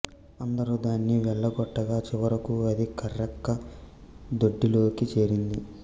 అందరూ దానిని వెళ్ళగొట్టగా చివరకు అది కర్రెక్క దొడ్డిలోకి చేరింది